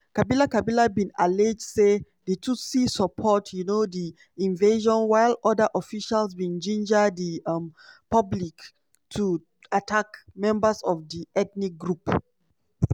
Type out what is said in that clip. kabila kabila bin allege say di tutsis support um di invasion while oda officials bin ginger di um public to attack members of di ethnic group.